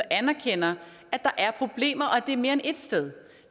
anerkender at der er problemer og at det er mere end ét sted